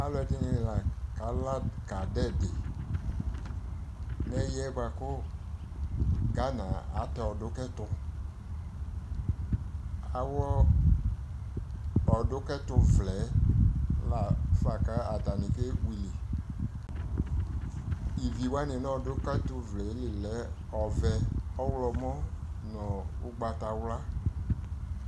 alʋɛdini lakala ka dʋ ɛdi, nʋ ɛyiɛ kʋ Ghana atɛ ɔdʋ kʋtɛ, awlɔ ɔdʋ kʋtɛ vlɛɛ lafa kʋ atani kɛ will, ivii wana nʋ ɔdʋku kɛtʋ vlɛ li lɛ ɔvɛɛ, ɔwlɔmʋ nʋ ɔgbatawla